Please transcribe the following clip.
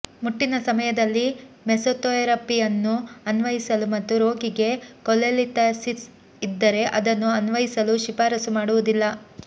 ಮುಟ್ಟಿನ ಸಮಯದಲ್ಲಿ ಮೆಸೊಥೆರಪಿಯನ್ನು ಅನ್ವಯಿಸಲು ಮತ್ತು ರೋಗಿಗೆ ಕೊಲೆಲಿಥಾಸಿಸ್ ಇದ್ದರೆ ಅದನ್ನು ಅನ್ವಯಿಸಲು ಶಿಫಾರಸು ಮಾಡುವುದಿಲ್ಲ